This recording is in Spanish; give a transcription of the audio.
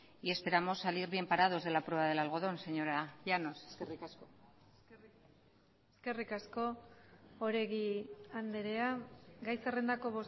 y esperamos salir bien parados de la prueba del algodón señora llanos eskerrik asko eskerrik asko oregi andrea gai zerrendako